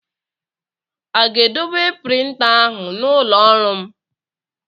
A ga-edobe printa ahụ n'ụlọ ọrụ m?